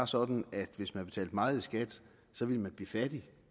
sådan at hvis man betaler meget i skat vil man blive fattig